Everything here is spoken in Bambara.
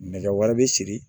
Nɛgɛ wɛrɛ bɛ siri